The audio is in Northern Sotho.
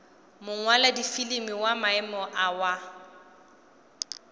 mongwaladifilimi wa maemo a wa